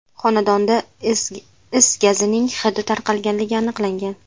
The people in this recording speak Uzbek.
Xonadonda is gazining hidi tarqalganligi aniqlangan.